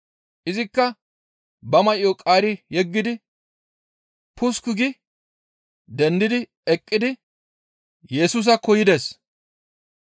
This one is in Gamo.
Izikka ba may7o qaari yeggidi pusukku gi dendi eqqidi Yesusaakko yides.